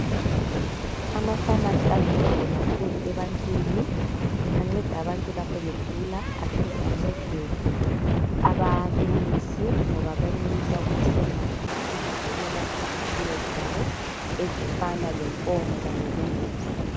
Amafamasi aluncedo kakhulu ebantwini anceda abantu begula aphinde ancede abalimisi ngoba benelisa ukuthenga amaphilisi okwelapha isifuyo zabo ezifana lenkomo kanye lembuzi.